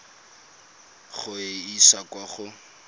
go e isa kwa go